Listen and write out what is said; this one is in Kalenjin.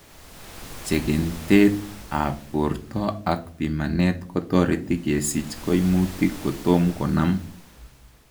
Chekentet ab borto ak pimanet kotoreti kesich koimutik kotom konam